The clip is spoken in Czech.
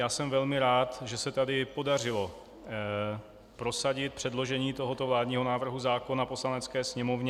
Já jsem velmi rád, že se tady podařilo prosadit předložení tohoto vládního návrhu zákona Poslanecké sněmovně.